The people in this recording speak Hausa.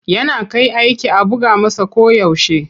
Yana kai aiki a buga masa koyaushe.